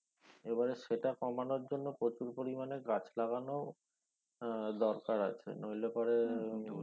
এবারে সেটা কমানোর জন্য প্রচুর পরিমানে গাছ লাগানো আহ দরকার আছে নইলে পরে